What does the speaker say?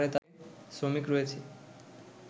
শ্রমিক রয়েছে